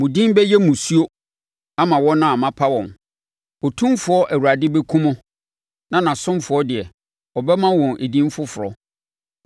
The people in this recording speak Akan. Mo din bɛyɛ mmusuo ama wɔn a mapa wɔn; Otumfoɔ Awurade bɛkum mo na nʼasomfoɔ deɛ, ɔbɛma wɔn edin foforɔ.